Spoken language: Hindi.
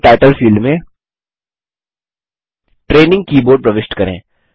कीबोर्ड टाइटल फील्ड में ट्रेनिंग कीबोर्ड प्रविष्ट करें